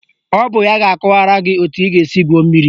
Ọ bụ ya ga-akọwara gị etu ị ga-esi gwuo mmiri